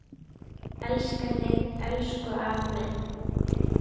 við ærna sút.